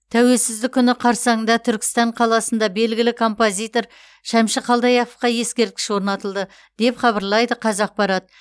тәуелсіздік күні қарсаңында түркістан қаласында белгілі композитор шәмші қалдаяқовқа ескерткіш орнатылды деп хабарлайды қазақпарат